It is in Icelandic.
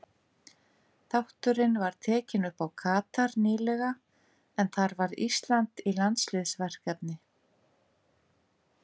Þátturinn var tekinn upp í Katar nýlega en þar var Ísland í landsliðsverkefni.